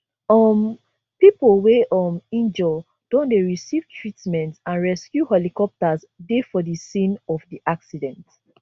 um pipo wey um injure don dey receive treatment and rescue helicopters dey for di scene of di accident